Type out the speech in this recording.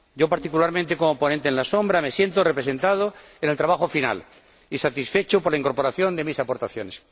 Particularmente, como ponente alternativo, me siento representado en el trabajo final y satisfecho por la incorporación de mis aportaciones.